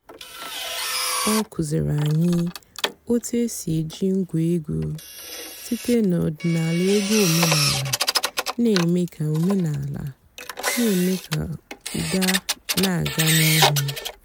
ọ́ kụ́zíìrí ànyị́ ótú é sì èjí ǹgwá ègwú sìté n'ọ̀dị́náàlà ègwú òménàlà nà-èmée kà òménàlà nà-èmée kà ụ́dà nà-àgá n'íìhú.